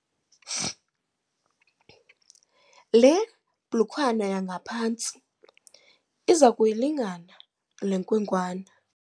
Le blukwana yangaphantsi iza kuyilingana le nkwenkwana.